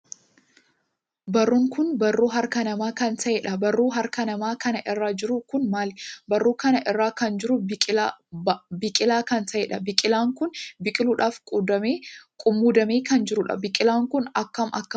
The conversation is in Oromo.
Barruun kun barruu harka namaa kan taheedha. barruu harka namaa kana irra jiruu kun maali? barruu kana irraa kan jiru baaqilaa kan taheedha. baaqilaan kun biqiluudhaaf qummuudee kan jiruudha. baaqilaan Kun akkam akkam bareeda!